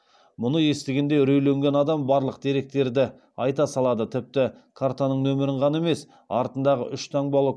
мұны естігенде үрейленген адам барлық деректерді айта салады тіпті картаның нөмірін ғана емес артындағы үш таңбалы